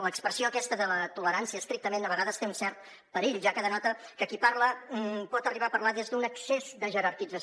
l’expressió aquesta de la tolerància estrictament a vegades té un cert perill ja que denota que qui parla pot arribar a parlar des d’un excés de jerarquització